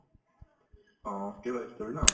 অ, কেৰেলা ই story ন